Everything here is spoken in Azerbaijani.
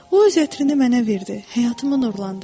O öz ətrini mənə verdi, həyatımı nurlandırdı.